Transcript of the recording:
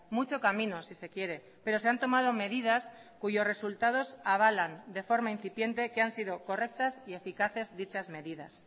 mucho camino si se quiere pero se han tomado medidas cuyos resultados avalan de forma incipiente que han sido correctas y eficaces dichas medidas